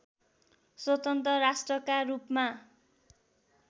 स्वतन्त्र राष्ट्रका रूपमा